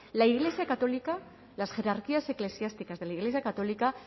la iglesia católica las jerarquías eclesiásticas de la iglesia católica